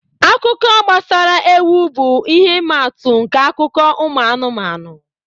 Akụkọ gbasara ewu bụ ihe ịma atụ nke akụkọ ụmụ anụmanụ